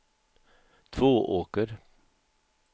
Tvååker